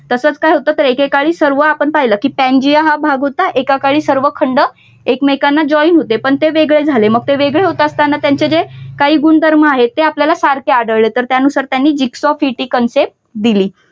तसंच काय होत तर एकेकाळी सर्व आपण पाहिलं कि पांजिया हा भाग होता आणि एका काळी सर्व खंड एकमेकांना join होते पण ते वेगळे झाले मग ते वेगळे होत असताना त्यांचे जे काही गुणधर्म आहे त्या आपल्याला सारखे आढळले तर त्यानुसार त्यांनी gigs of hit ही concept दिली.